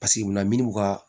Paseke munna minnu ka